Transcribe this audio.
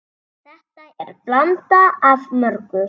Þetta er blanda af mörgu.